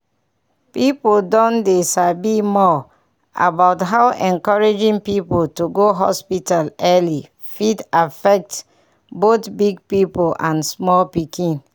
people don dey sabi more about how encouraging people to go hospital early fit affect both big people and small pikin.